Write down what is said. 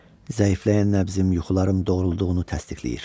Zəifləyən nəbzimlə yuxularım doğruluğunu təsdiqləyir.